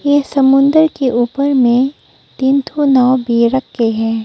ये समुंदर के ऊपर में तीन ठो नाव भी रख के है।